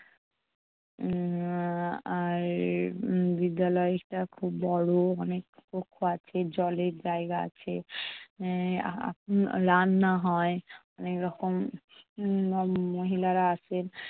উম আর উম বিদ্যালয়টা খুব বড়, অনেক কক্ষ আছে। জলের জায়গা আছে। উম আহ রান্না হয় অনেক রকম উম মহিলারা আসেন।